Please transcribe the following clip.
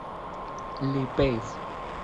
ли пейс